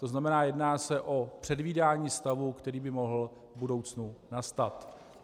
To znamená, jedná se o předvídání stavu, který by mohl v budoucnu nastat.